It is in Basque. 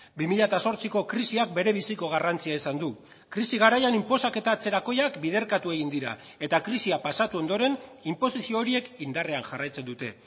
bi mila zortziko krisiak berebiziko garrantzia izan du krisi garaian inposaketa atzerakoiak biderkatu egin dira eta krisia pasatu ondoren inposizio horiek indarrean jarraitzen dute